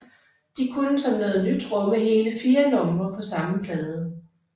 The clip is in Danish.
De kunne som noget nyt rumme hele fire numre på samme plade